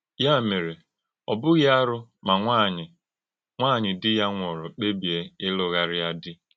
Yà méré, ọ̀ bụ́ghị àrụ́, ma nwányị nwányị dì ya nwúọ̀rù kpebìe ílùgharịa dì.